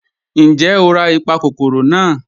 Ńjẹ́ o rà ipakòkòrò naa?